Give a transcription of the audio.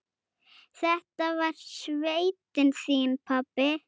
Þetta var sveitin þín, pabbi.